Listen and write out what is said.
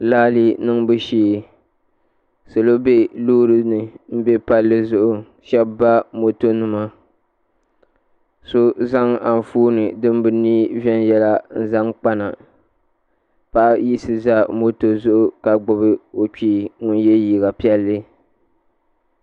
raali niŋbu shee salo bɛ loori ni n bɛ palli zuɣu shab ba moto nima so zaŋ Anfooni din bi niɛ viɛnyɛla n zaŋ kpana paɣa yiɣisi ʒɛ moto zuɣu ka gbubi o kpee ŋun yɛ liiga piɛlli